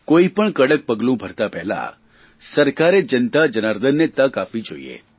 કોઇપણ કડક પગલું ભરતાં પહેલાં સરકારે જનતા જનાર્દનને તક આપવી જોઇએ